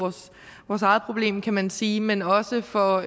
vores eget problem kan man sige men også for